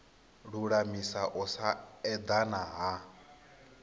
lulamisa u sa edana ha